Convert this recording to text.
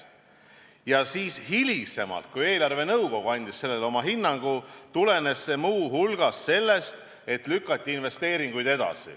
Ja siis hiljem, kui eelarvenõukogu andis sellele oma hinnangu, tulenes see muu hulgas sellest, et investeeringuid lükati edasi.